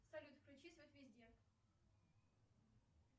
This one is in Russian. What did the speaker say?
салют включи свет везде